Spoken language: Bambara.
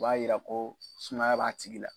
O b'a yira ko sumaya b'a tigi la.